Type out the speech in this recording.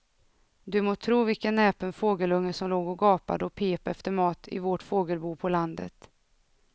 Du må tro vilken näpen fågelunge som låg och gapade och pep efter mat i vårt fågelbo på landet.